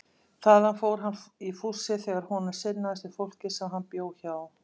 Þaðan fór hann í fússi þegar honum sinnaðist við fólkið sem hann bjó hjá.